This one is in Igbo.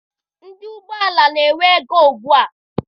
Ndị ụgbọala na-enwe ego ugbua.